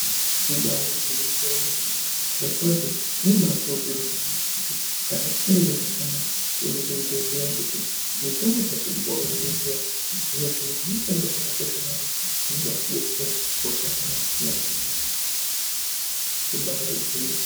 Ibari gwinyiso yemene zvirokwazvo zvinobakuridzirwa kuti kana tisikazwi zvakanaka tiende kuzvibhedhleya ngekuti mutombo dzatirikupuwa kuzvibhedhleya mitombo dzakakosha maningi dzinobatidetsera kana hosha dzisina kumira mushe. Ibari gwinyiso.